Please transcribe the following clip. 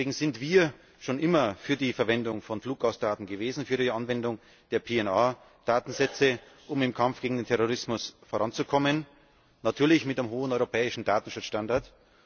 Deswegen sind wir schon immer für die Verwendung von Fluggastdaten gewesen, für die Anwendung der PNR Datensätze, um im Kampf gegen den Terrorismus voranzukommen natürlich mit einem hohen europäischen Datenschutzstandard.